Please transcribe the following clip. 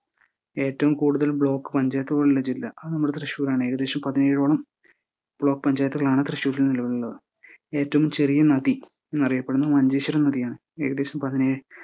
ഏറ്റവും കൂടുതൽ ബ്ലോക്ക് പഞ്ചായത്തുകളുള്ള ജില്ലാ അത് നമ്മുടെ തൃശൂരാണ്. ഏകദേശം പതിനേഴോളം ബ്ലോക്ക് പഞ്ചായത്തുകളാണ് തൃശൂരിൽ നിലവിലുള്ളത്. ഏറ്റവും ചെറിയ നദി എന്നറിയപ്പെടുന്ന മഞ്ചേശ്വരം നദിയാണ് ഏകദേശം പതിനേഴ്